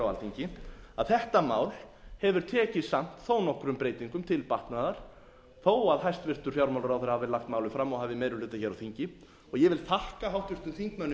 alþingi að þetta mál hefur tekið samt þó nokkrum breytingum til batnaðar þó að hæstvirtur fjármálaráðherra hafi lagt málið fram og hafi meiri hluta hér á þingi og ég vil þakka háttvirtum þingmönnum